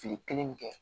Fili kelen bɛ kɛ